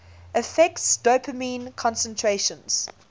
affects dopamine concentrations